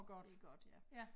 Det godt ja